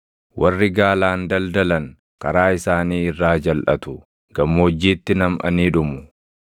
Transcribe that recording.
Warri gaalaan daldalan karaa isaanii irraa jalʼatu; gammoojjiitti namʼanii dhumu.